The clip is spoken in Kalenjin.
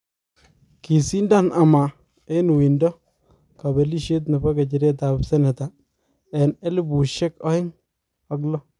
kisindan ama en uindo kapelisiet nepo nyecheret ap senetaen elipusiek aeng ak low